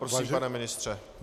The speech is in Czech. Prosím, pane ministře.